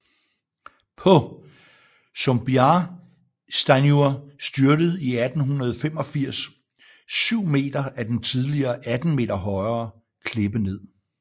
På Sumbiarsteinur styrtede i 1885 7 meter af den tidligere 18 meter højere klippe ned